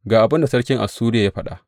Ga abin da sarkin Assuriya ya faɗa.